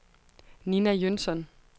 Ninna Jønsson